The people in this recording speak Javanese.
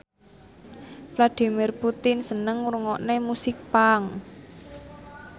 Vladimir Putin seneng ngrungokne musik punk